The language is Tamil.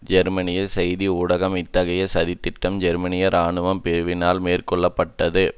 ஜெர்மனிய செய்தி ஊடகம் இத்தகைய சதி திட்டம் ஜெர்மனிய இராணுவ பிரிவினரால் மேற்கொள்ள பட்டது